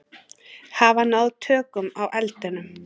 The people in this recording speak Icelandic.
Hafa náð tökum á eldinum